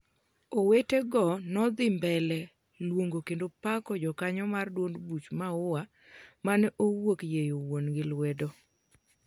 owetego nodhi mbele luongo kendo pako jokanyo mar duond buch Maua mane owuok yieyo wuon'gi lwedo